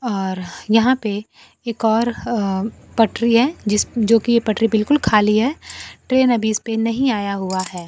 और यहां पे एक और पटरी है जो कि पटरी बिल्कुल खाली है। ट्रेन अभी इस पे नहीं आया हुआ है।